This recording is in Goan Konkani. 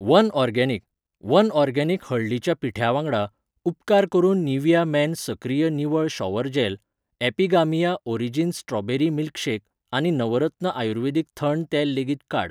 वनऑर्गेनिक, वन ऑर्गेनिक हळदीच्या पिठ्या वांगडा, उपकार करून निव्हिया मेन सक्रिय निवळ shower gel, Epigamia origins strawberry milkshake आनी नवरत्न आयुर्वेदिक थंड तेल लेगीत काड.